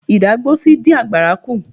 Ìdágbósí dín àgbàrá kú.